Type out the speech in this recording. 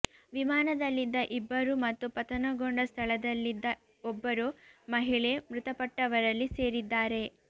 ವಿಮಾನದಲ್ಲಿದ್ದ ಇಬ್ಬರು ಮತ್ತು ಪತನಗೊಂಡ ಸ್ಥಳದಲ್ಲಿದ್ದ ಒಬ್ಬರು ಮಹಿಳೆ ಮೃತಪಟ್ಟವರಲ್ಲಿ ಸೇರಿದ್ದಾರೆ